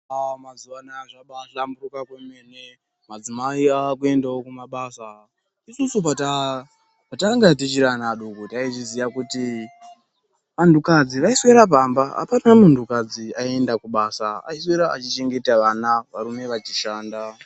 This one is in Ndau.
Aa mazuva anaya zvabahlamburika kwemene madzimai akuendavo kumabasa. Isusu patanga tichiri anna adoko taizviziya kuti antu kadzi vaiswera pamba hapana muntu kadzi aienda kubasa, aiswera achichengeta vana varume vachishanda.